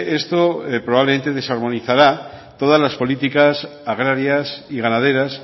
esto probablemente desarmonizara todas las políticas agrarias y ganaderas